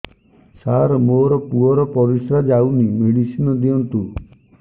ସାର ମୋର ପୁଅର ପରିସ୍ରା ଯାଉନି ମେଡିସିନ ଦିଅନ୍ତୁ